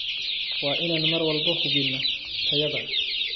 Waa inaan mar walba hubinno tayada.